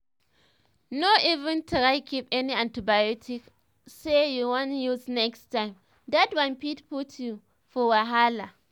no even try keep any antibiotics say you wan use next time that one fit put you for wahala.